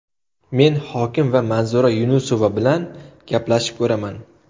Men hokim va Manzura Yunusova bilan gaplashib ko‘raman.